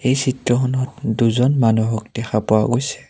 এই চিত্ৰখনত দুজন মানুহক দেখা পোৱা গৈছে।